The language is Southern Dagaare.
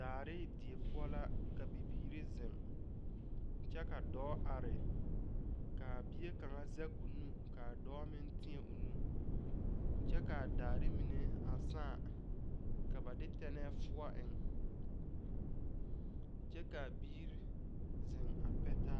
Daare die poʊ la ka bibiire zeŋ. Kyɛ ka dɔɔ are. Kaa bie kanga zeg o nu ka a dɔɔ meŋ teɛ o nu. Kyɛ kaa daare mene a saaŋ ka ba de tɛnɛ fuo eŋ. Kyɛ ka a biire zeŋ a pɛ taa